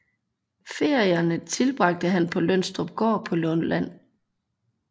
Ferierne tilbragte han på Lønstrupgård på Lolland